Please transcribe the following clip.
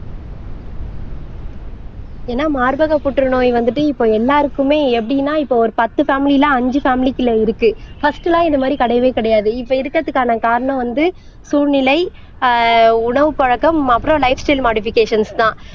ஏன்னா மார்பக புற்றுநோய் வந்துட்டு இப்ப எல்லாருக்குமே எப்படின்னா இப்ப ஒரு பத்து பேமிலில அஞ்சு பேமிலிக்குள்ள இருக்கு பஸ்ட் எல்லாம் இந்த மாதிரி கிடையவே கிடையாது இப்ப இருக்கறதுக்கான காரணம் வந்து சூழ்நிலை ஆஹ் உணவு பழக்கம் அப்புறம் லைப் ஸ்டைல் மாடிஃபிகேஷன்ஸ்தான்